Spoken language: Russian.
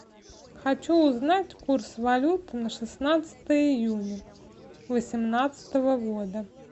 хочу узнать курс валют на шестнадцатое июня восемнадцатого года